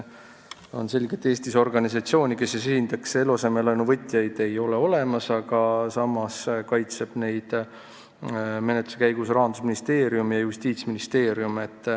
On selge, et Eestis ei ole olemas organisatsiooni, kes esindaks eluasemelaenu võtjaid, samas kaitsevad neid menetluse käigus Rahandusministeerium ja Justiitsministeerium.